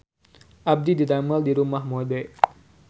Abdi didamel di Rumah Mode